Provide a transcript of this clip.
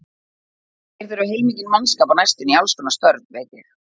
Þeir þurfa heilmikinn mannskap á næstunni í allskonar störf, veit ég.